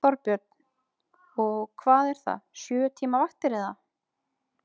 Þorbjörn: Og hvað er það, sjö tíma vaktir, eða?